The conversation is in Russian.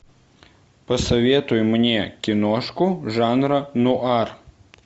посоветуй мне киношку жанра нуар